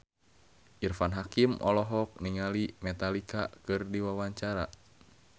Irfan Hakim olohok ningali Metallica keur diwawancara